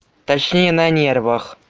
точнее на нервах